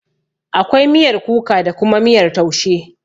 Akwai miyar kuka da kuma miyar taushe.